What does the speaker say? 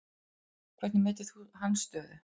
Hvernig metur þú hans stöðu?